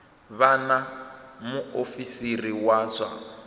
vha na muofisiri wa zwa